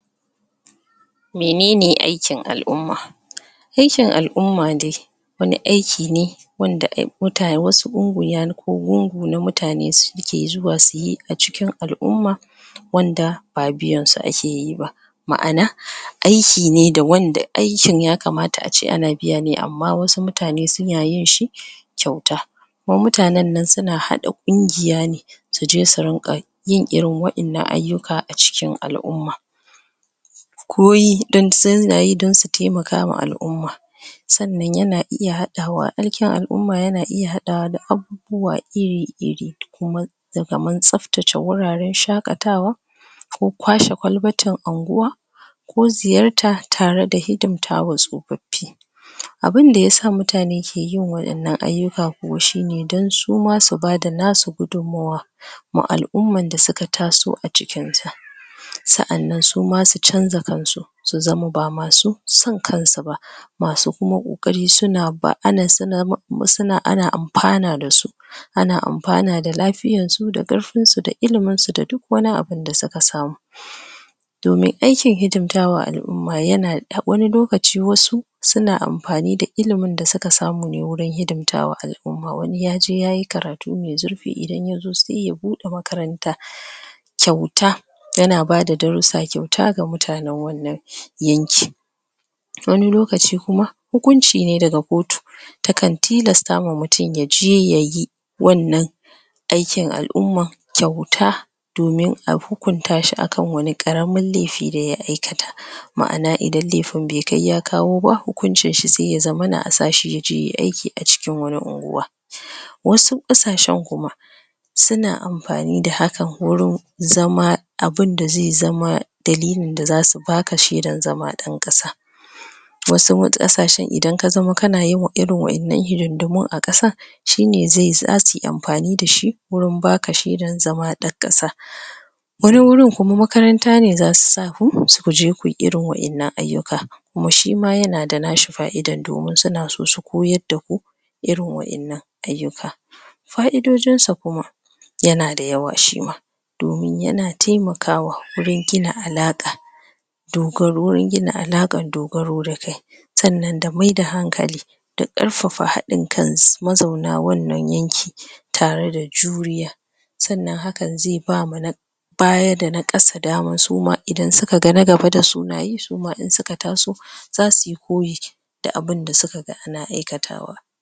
menene aikin al'umma aikin al'umma dai wan aiki ne wanda ai ku gungun na mutane da suke zuwa suyi acikin al'umma wanda ba biyan su ake yi ba ma'ana aiki ne da wanda aiaikin ya kamata ace ana biya ne amma wasu mutane sun yin shi kyauta kuma mutanen nan suna haɗa dukiya ne suje su rinka yin irin wadannan ayyuka acikin al'umma don koyi don suna yi don su taimaka wa al'umma sanan yana sanan yana iya haɗawa aikin al' umma yana iya haɗawa da abu buwa iri ir[ kuma da kamar tsabtace wuraren shakatawa ko kwashe kwalbatin anguwa ko ziyarta tare da hidimta wa tsofaffi abun da yasa mutane ke yin iri waɗannan ayyuka kuwa shi ne dan suma su bada nasu gudumawa ma al umman da suka taso acikin ta sanan suma su canza cultutre su zama ba masu son kansu ba masu kuma kokari suna ba kuma suna, ana anfana dasu ana anfana da lafi yan su da karfin su da ilimin su da duk wani abun da suka samu domin to me aikin hidimta wa al'umma yana hass lokaci wasu suna anfani da ilimin da suka samu ne wurin hidimta wa al'umma wani yaje yayi karatu mai zurf fi idan ya zo sai ya buɗe makaranta kyauta yana bada darrusa kyauta wa mutanen wannan yankin wani lokaci kuma hukunci ne daga kotu takan tilasta wa mutun yaje yayi wannan aikin alumma kyauta domin a hukunta shi akan wani karamin laifi da ya aikata maana idan laifin bai kai ya kawo ba hukuncin shi sai asa shi yaje yayi aikin acikin wani unguwa wasu kasashen kuma sana anfani da haka wurin zama abun da zai zama dalilin da zasu baka shaidan zama dan ƙasa wasu ƙasashen idan ka zamo kana yawan irn waƴannan hidindimun a ƙasa, shi ne zai zasu yi anfani da shi wurin baka shaidar zama dan kasa wani wurin kuma makaranta ne za su sa kuje kuyi irin waƴannan ayyuka kuma shima yana da nashi faidan domin suna so su koyad da ku irin waƴannan ayyuka faidojin sa kuma yana da yawa shi ma domin yana taimakawa wurin gina alaka dogaruwan gina alaƙar dogaro da kai sanan da mai da hankali karfafa haɗin kai s ma zauna wannan yankin tare da juriya sanan hakan zai ba wa na baya da na ƙasa suma idan suka ga na gaba dasu nayi ,suma idan suka taso za su yi koyi da abun da suka ga ana aikatawa.